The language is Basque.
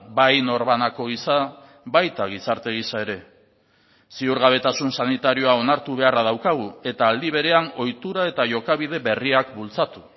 bai norbanako gisa baita gizarte gisa ere ziurgabetasun sanitarioa onartu beharra daukagu eta aldi berean ohitura eta jokabide berriak bultzatu